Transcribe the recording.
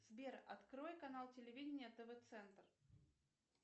сбер открой канал телевидения тв центр